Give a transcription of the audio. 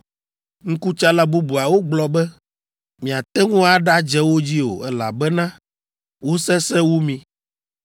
Ŋkutsala bubuawo gblɔ be, “Miate ŋu aɖadze wo dzi o, elabena wosesẽ wu mi.”